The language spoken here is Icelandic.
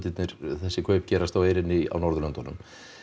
þessi kaup gerast á eyrinni á Norðurlöndunum